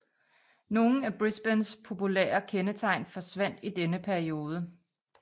Nogle af Brisbanes populære kendetegn forsvandt i denne periode